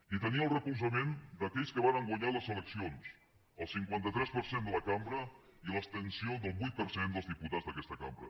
i tenia el recolzament d’aquells que varen guanyar les eleccions el cinquanta tres per cent de la cambra i l’abstenció del vuit per cent dels diputats d’aquesta cambra